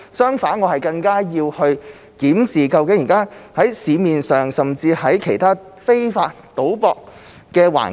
相反，我更要檢視現時市面上其他非法賭博的情況。